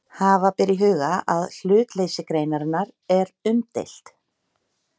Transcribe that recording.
Hafa ber í huga að hlutleysi greinarinnar er umdeilt.